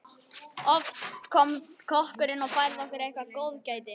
Oft kom kokkurinn og færði okkur eitthvert góðgæti.